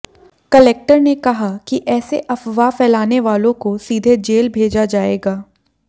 collector ने कहा कि ऐसे अफवाह फैलाने वालों को सीधे जेल भेजा जाएगा